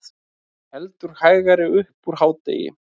Heldur hægari upp úr hádegi